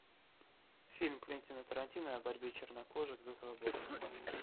фильм квентина тарантино о борьбе чернокожих за свободу